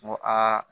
N ko aa